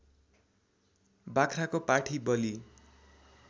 बाख्राको पाठी बली